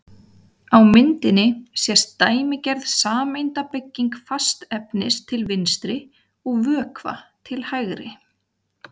Á myndinni sést dæmigerð sameindabygging fastefnis til vinstri og vökva til hægri.